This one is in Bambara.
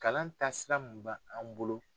Kalan taasira mun ba an bolo.